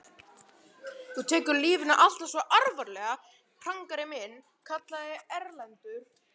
Þú tekur lífinu alltaf svo alvarlega, prangari minn, kallaði Erlendur.